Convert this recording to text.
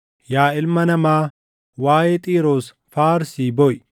“Yaa ilma namaa, waaʼee Xiiroos faarsii booʼi.